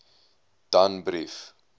danbrief